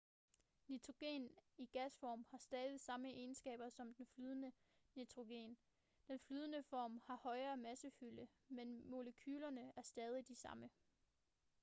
nitrogen i gasform har stadig samme egenskaber som flydende nitrogen den flydende form har højere massefylde men molekylerne er stadig de samme